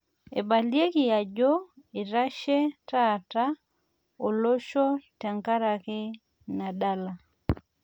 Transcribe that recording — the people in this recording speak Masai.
Eibalieki aajo eitasho taata olosho tenkaraki ina dala